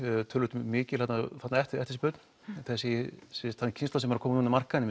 töluvert mikil eftirspurn þessi keyrsla sem er að koma inn á markaðinn